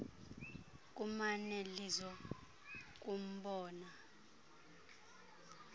kumane lizo kumbona